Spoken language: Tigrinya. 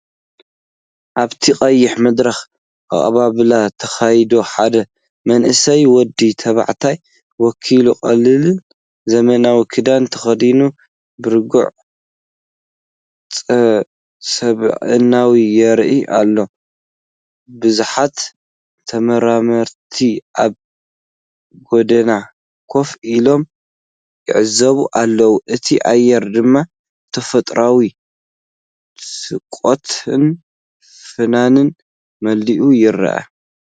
ኣብቲ ቀይሕ መድረኽ ኣቀባብላ ተኻይዱ፡ ሓደ መንእሰይ ወዲ ተባዕታይ ወኪል፡ ቀሊልን ዘመናዊን ክዳን ተኸዲኑ፡ ብርግጽ ስብእናኡ የርኢ ኣሎ። ብዙሓት ተመራመርቲ ኣብ ጐድኒ ኮፍ ኢሎም ይዕዘቡ ኣለው፡ እቲ ኣየር ድማ ብፈጠራዊ ስቕታን ፍናንን መሊኡ ይረአ።